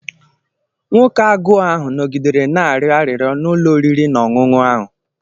Nwoke agụụ ahụ nọgidere na-arịọ arịrịọ n’ụlọ oriri na ọṅụṅụ ahụ.